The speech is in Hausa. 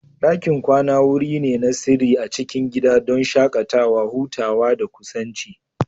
Dakin kwana wuri ne na sirri a cikin gida, don shakatawa, hutawa, da kusanci.